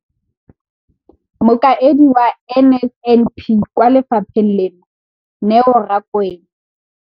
Mokaedi wa NSNP kwa lefapheng leno, Neo Rakwena.